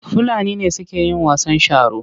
Fulani ne suke yin wasan sharo.